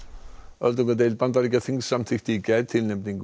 öldungadeild Bandaríkjaþings samþykkti í gær tilnefningu